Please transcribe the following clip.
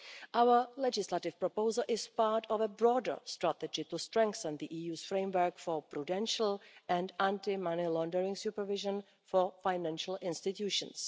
Our legislative proposal is part of a broader strategy to strengthen the EU's framework for prudential and anti money laundering supervision for financial institutions.